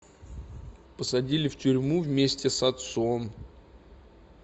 посадили в тюрьму вместе с отцом